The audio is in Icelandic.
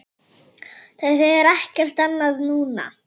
Það þýðir ekkert annað núna.